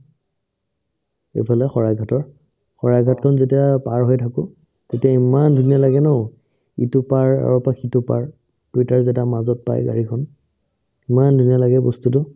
ইফালে শৰাইঘাটৰ শৰাইঘাটখন যেতিয়া পাৰ হৈ থাকো তেতিয়া ইমান ধুনীয়া লাগে ন ইটো পাৰ আৰৰ পাই সিটো পাৰ যেতিয়া মাজত পাই গাড়ীখন ইমান ধুনীয়া লাগে বস্তুটো